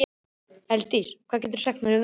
Elddís, hvað geturðu sagt mér um veðrið?